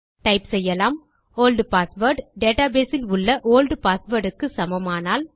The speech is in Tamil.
டைப் செய்யலாம் ஒல்ட் பாஸ்வேர்ட் டேட்டாபேஸ் இல் உள்ள ஒல்ட் பாஸ்வேர்ட் க்கு சமமானால்